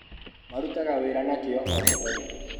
Marutaga wĩra na kĩo o mũthenya.